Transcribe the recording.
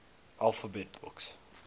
alphabet books